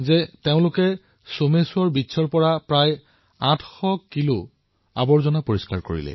এই লোকসকলে একত্ৰিতভাৱে সোমশ্বৰ তীৰৰ পৰা ৮০০ কিলোতকৈও অধিক আৱৰ্জনা পৰিষ্কাৰ কৰিছে